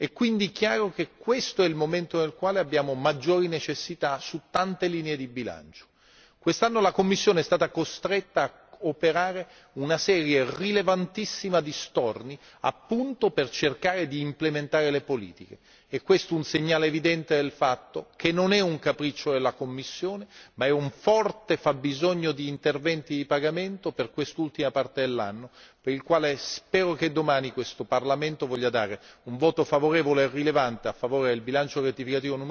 È dunque evidente che questo è il momento nel quale abbiamo maggiori necessità su molte linee di bilancio. Quest'anno la Commissione è stata costretta a operare una serie rilevantissima di storni, appunto per cercare di implementare le politiche. È questo un segnale evidente che non si tratta di un capriccio della Commissione, ma piuttosto di un forte fabbisogno di interventi di pagamento per quest'ultima parte dell'anno, sul quale spero che domani questo Parlamento voglia esprimere un voto favorevole e rilevante a favore del bilancio rettificativo n.